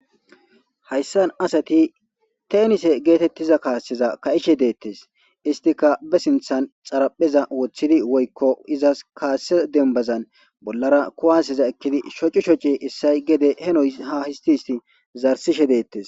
Hayssan assati teenise geetetiza kaasseza ka'ishe de'etees isttika be sinththan xarapheza wothidi woykko izas kaasse dembazan bollara kuwaseza ekkidi shoci shoci issoy gede heno ha histti histti zarsishe de'etees.